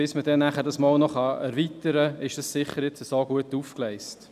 Bis man es dereinst erweitern kann, ist es gut aufgegleist.